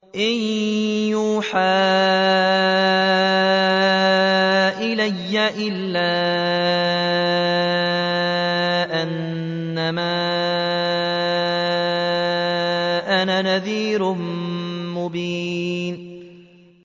إِن يُوحَىٰ إِلَيَّ إِلَّا أَنَّمَا أَنَا نَذِيرٌ مُّبِينٌ